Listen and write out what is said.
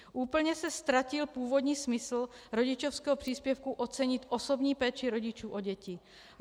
Úplně se ztratil původní smysl rodičovského příspěvku ocenit osobní péči rodičů o děti.